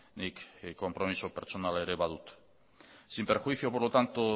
nik konpromiso pertsonala ere badut sin perjuicio por lo tanto